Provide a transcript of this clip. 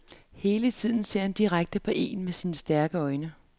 Hele tiden ser han direkte på een med sine stærke øjne.